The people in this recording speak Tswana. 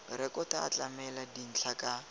rekoto a tlamela dintlha ka